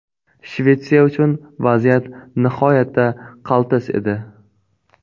Shvetsiya uchun vaziyat nihoyatda qaltis edi.